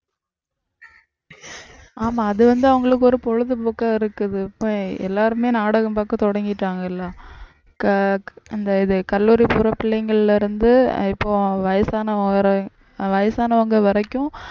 ஆமா அது வந்து அவங்களுக்கு ஒரு பொழுதுபோக்கா இருக்குது இப்ப எல்லாருமே நாடகம் பார்க்க தொடங்கிட்டாங்கல இந்த இது கல்லூரி போற பிள்ளைங்கள்ல இருந்து இப்போ வயசானவங்க வரை வயசானவங்க வரைக்கும்